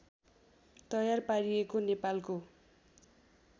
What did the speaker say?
तयार पारिएको नेपालको